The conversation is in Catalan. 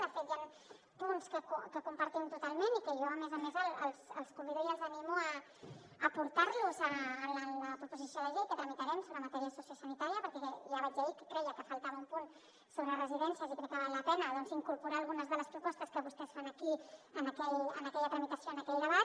de fet hi han punts que compartim totalment i que jo a més a més els convido i els animo a portar los en la proposició de llei que tramitarem sobre matèria sociosanitària perquè ja vaig dir ahir que creia que faltava un punt sobre residències i crec que val la pena doncs incorporar algunes de les propostes que vostès fan aquí en aquella tramitació en aquell debat